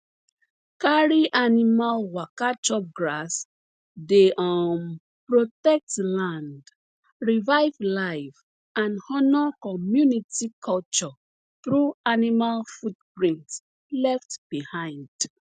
carry animal waka chop grass dey um protect land revive life and honor community culture through animal footprints left behind